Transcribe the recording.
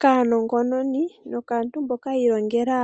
Kaanongononi nokaantu mboka yi ilongela